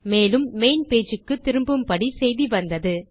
மேலும் main page க்கு திரும்பும்படி செய்தி வந்தது